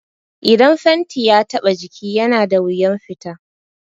Idan fenti ya taɓa jiki yana da wuyan fita